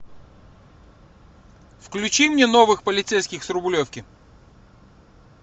включи мне новых полицейских с рублевки